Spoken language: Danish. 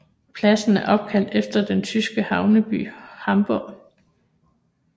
Pladsen er opkaldt efter den tyske havneby Hamburg